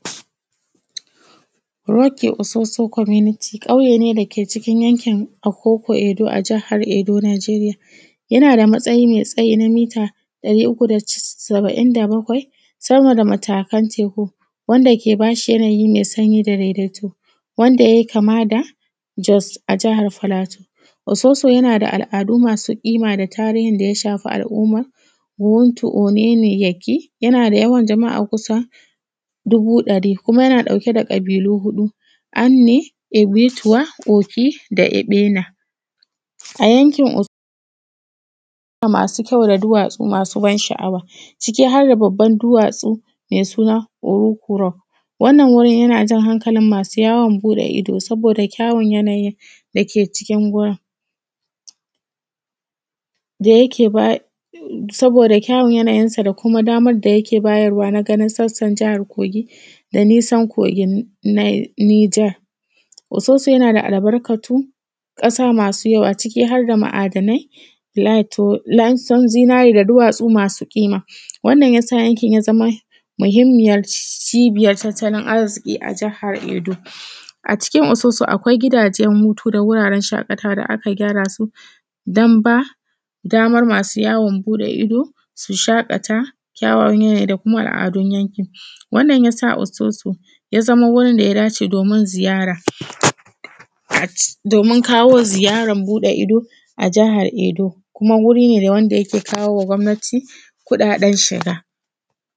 Roke Ososo community ƙauye ne dake cikin yankin Okoko Edo, a jihar Edo Nigeria. Yana da matsayi mai tsayi na mita ɗari uku da cas’in da bakwai. Sama da matakan teku, wanda yake ba shi yanayi mai sanyi da daidaito, wanda yai kama da Jos a jihar platuea. Ososo yana da al’adu masu ƙima da tarihin da ya shafi al’umma Wowuntu Omemeyeki, yana da yawan yama’a kusa dubu ɗari. Kuma yana ɗauke da ƙabilu huɗu, Anne, Ibituwa, Oki da Eɓena. A yankin o masu kyau da duwatsu masu ban sha’awa, ciki har da babban duwatsu mai suna Owuku rock. Wannan wurin yana jan hankalin masu yawon buɗe ido, soboda da kyawon yanayi dake cikin wurin. Da yake ba, saboda kyawon yanayinsa, da kuma damar da yake bayarwa na ganin sassan jahar Kogi, da nisan kogin Nil Niger. Ososo yana da albarkatu ƙasa masu yawa ciki har da ma’adanai, lato laison zinari da duwatsu masu ƙima. wannan ya sa yankin ya zama mahimmiyar cibiyan tattalin arziki a jihar Edo. A cikin Ososo akwai gidajen hutu da wuraren shaƙatawa da aka gyara su, dan ba damar masu yawon boɗe ido su shaƙata, kyawawan yanayi da kuma al’adun yankin. Wannan ya sa Ososo ya zama wurin da ya dace domin ziyara, at domin kawo ziyaran boɗe ido a jihar Edo, kuma wuri ne da yake kawowa gwamnati kuɗaɗen shiga.